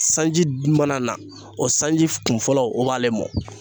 Sanji mana na o sanji kun fɔlɔ o b'ale mɔ